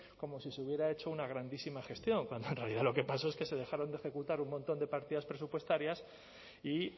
como si se hubiera hecho una grandísima gestión cuando en realidad lo que pasó es que se dejaron de ejecutar un montón de partidas presupuestarias y